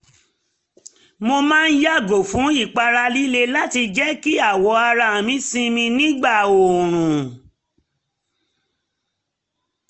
mo máa yàgò fún ìpara líle láti jẹ́ kí awọ ara mi sinmi nígbà oorun